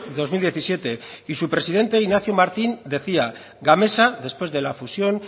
dos mil diecisiete y su presidente ignacio martín decía gamesa después de la fusión